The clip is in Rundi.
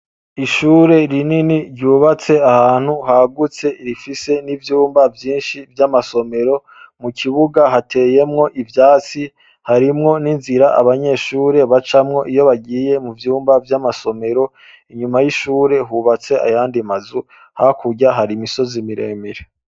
Ishure rinini ryubatse ahantu hagutse rifise ivyumba vyinshi vyamasomero, mukibuga hateyemwo ivyatsi harimwo ninzira abanyeshure bacamwo iyo bagiye muvyumba vyamasomero, nyuma yishure hubatse ayandi mazu hakurya hari imisozi miremire.